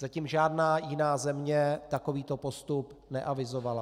Zatím žádná jiná země takovýto postup neavizovala.